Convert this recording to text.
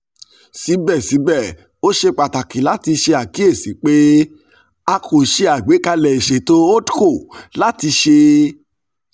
sibẹsibẹ o ṣe pataki lati ṣe akiyesi pe a ko ṣe agbekalẹ iṣeto holdco lati ṣe